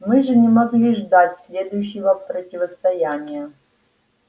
мы же не могли ждать следующего противостояния